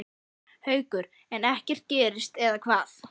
Haukur: En ekkert gerist eða hvað?